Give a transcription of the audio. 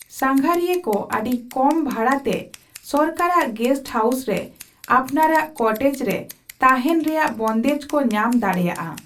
ᱥᱟᱸᱜᱷᱟᱨᱤᱭᱟ ᱠᱚ ᱟᱹᱰᱤ ᱠᱚᱢ ᱵᱷᱟᱲᱟ ᱛᱮ ᱥᱚᱨᱠᱟᱨᱟᱜ ᱜᱮᱥᱴ ᱦᱟᱣᱩᱥ ᱥᱮ ᱟᱯᱱᱟᱨᱟᱜ ᱠᱚᱴᱮᱡ ᱨᱮ ᱛᱟᱦᱮᱸᱱ ᱨᱮᱭᱟᱜ ᱵᱚᱱᱫᱮᱡ ᱠᱚ ᱧᱟᱢ ᱫᱟᱲᱮᱭᱟᱜᱼᱟ ᱾